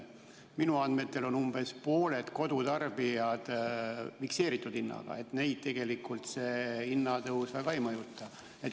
Minu andmetel on umbes pooltel kodutarbijatel fikseeritud hind, nii et neid tegelikult see hinnatõus väga ei mõjuta.